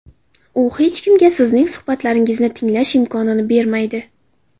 U hech kimga sizning suhbatlaringizni tinglash imkonini bermaydi.